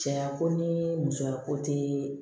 Cɛya ko ni musoya ko tɛ